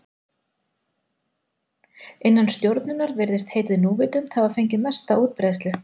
Innan stjórnunar virðist heitið núvitund hafa fengið mesta útbreiðslu.